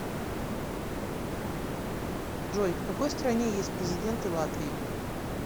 джой в какой стране есть президенты латвии